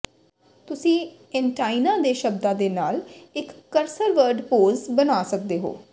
ਤੁਸੀਂ ਏਨਟਾਈਨਾਂ ਦੇ ਸ਼ਬਦਾਂ ਦੇ ਨਾਲ ਇੱਕ ਕਰਸਰਵਰਡ ਪੋਜ ਬਣਾ ਸਕਦੇ ਹੋ